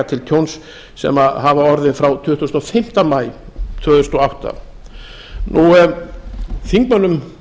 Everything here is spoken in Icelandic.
til tjóns sem hafa orðið frá tuttugasta og fimmta maí tvö þúsund og átta háttvirtum þingmönnum